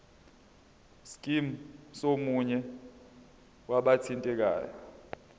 scheme somunye wabathintekayo